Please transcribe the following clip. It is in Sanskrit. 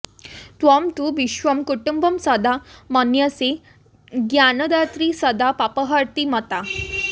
त्वं तु विश्वं कुटुम्बं सदा मन्यसे ज्ञानदात्री सदा पापहर्त्री मता